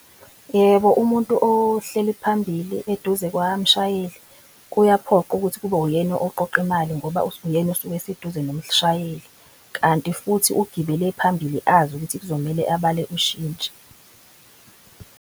Yebo, umuntu ohleli phambili eduze kwamshayeli kuyaphoqa ukuthi kube uyena oqoqa imali ngoba uyena osuke eseduze nomshayeli. Kanti futhi ugibele phambili azi ukuthi kuzomele abale ushintshi.